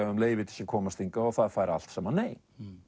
um leyfi til að komast hingað og það fær allt saman nei